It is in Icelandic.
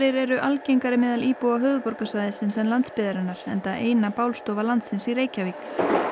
eru algengari meðal íbúa höfuðborgarsvæðisins en landsbyggðarinnar enda eina landsins í Reykjavík